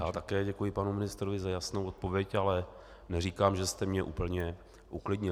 Já také děkuji panu ministrovi za jasnou odpověď, ale neříkám, že jste mě úplně uklidnil.